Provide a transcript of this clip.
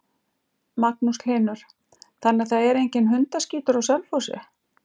Magnús Hlynur: Þannig að það er enginn hundaskítur á Selfossi?